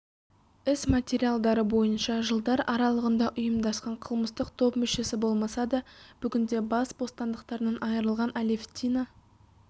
іс материалдары бойынша жылдар аралығында ұйымдасқан қылмыстық топ мүшесі болмаса да бүгінде бас бостандықтарынан айырылған алевтина